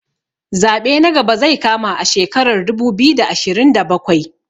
Zaɓe na gaba zai kama a shekarar dubu biyu da ashirin da bakwai